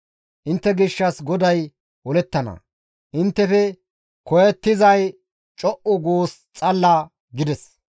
Intte gishshas GODAY olettana; inttefe koyettizay co7u guus xalala» gides.